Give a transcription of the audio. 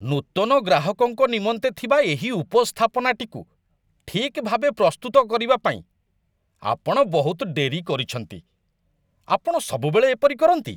ନୂତନ ଗ୍ରାହକଙ୍କ ନିମନ୍ତେ ଥିବା ଏହି ଉପସ୍ଥାପନାଟିକୁ ଠିକ୍ ଭାବେ ପ୍ରସ୍ତୁତ କରିବା ପାଇଁ ଆପଣ ବହୁତ ଡେରି କରିଛନ୍ତି। ଆପଣ ସବୁବେଳେ ଏପରି କରନ୍ତି।